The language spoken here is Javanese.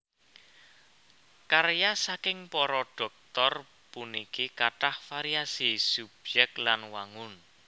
Karya saking para Dhoktor puniki kathah variasi subyèk lan wangun